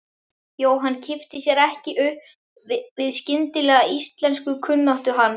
Jóhann kippti sér ekki upp við skyndilega íslenskukunnáttu hans.